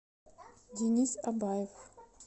денис абаев